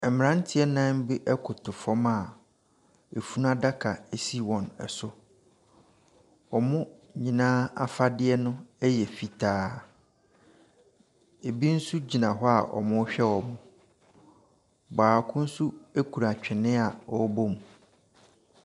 Mmeranteɛ nnan bi koto fam a funu adaka si wɔn so. Wɔn nyinaa afadeɛ no yɛ fitaa. Ebi nso gyina hɔ a wɔrehwɛ wɔn. Baako nso kura twene a ɔrebɔ mu.